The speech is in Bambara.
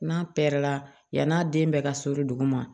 N'a pɛrɛnna yann'a den bɛ ka so duguma